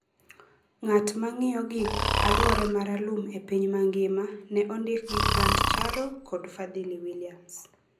ng’at ma ng’iyo gik aluore ma ralum e piny mangima ne ondik gi Grant Charo kod Fadhili Williams.